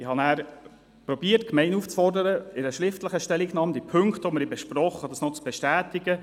Ich habe versucht, die Gemeinde aufzufordern, die besprochenen Punkte in einer schriftlichen Stellungnahme zu bestätigen.